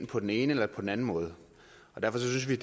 på den ene eller på den anden måde og derfor synes vi